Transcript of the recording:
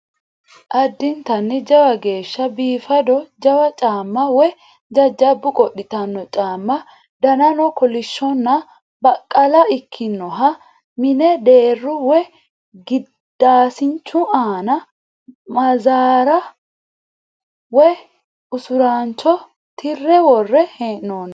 Addintanni jawa geeshsha biifado jawa caamma woyi jajjabbu qodhitanno caamma danano kolishshonna baqqala ikkinoha mine deerru woyi gidaasinchu aana maazara woyi usuraancho tirre worre hee'noonni.